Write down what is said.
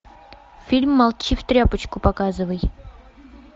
фильм молчи в тряпочку показывай